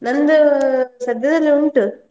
ನಂದು ಸದ್ಯದಲ್ಲಿ ಉಂಟು.